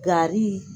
Gari